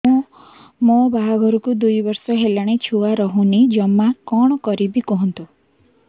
ମୋ ବାହାଘରକୁ ଦୁଇ ବର୍ଷ ହେଲାଣି ଛୁଆ ରହୁନି ଜମା କଣ କରିବୁ କୁହନ୍ତୁ